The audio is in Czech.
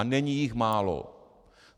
A není jich málo.